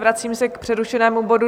Vracím se k přerušenému bodu